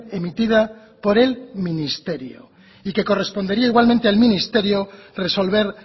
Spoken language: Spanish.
emitida por el ministerio y que correspondería igualmente al ministerio resolver